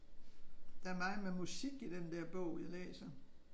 Der er meget med musik i den der bog jeg læser